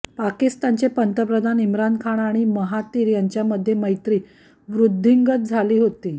पाकिस्तानचे पंतप्रधान इम्रान खान आणि महातीर यांच्यामध्ये मैत्री वृद्धिंगत झाली होती